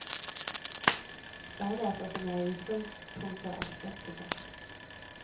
Særlig ettersom jeg i utgangspunktet er skeptiker.